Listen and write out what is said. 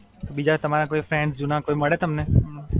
બીજા તમારા કોઈ ફ્રેન્ડ્સ જૂના કોઈ મડે તમને?